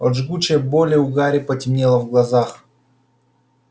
от жгучей боли у гарри потемнело в глазах